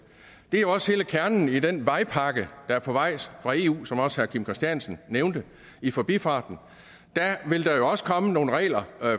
det er jo også hele kernen i den vejpakke der er på vej fra eu som også herre kim christiansen nævnte i forbifarten der vil der jo også komme nogle regler